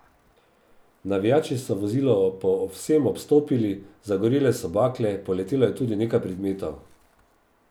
Navijači so vozilo povsem obstopili, zagorele so bakle, poletelo je tudi nekaj predmetov.